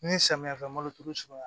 Ni samiyɛ fɛ malo turu